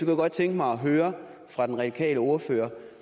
jeg godt tænke mig at høre fra den radikale ordfører